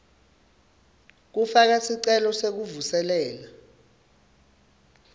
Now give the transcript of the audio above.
kufaka sicelo sekuvuselela